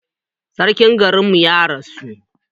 Sarkin garin mu ya rasu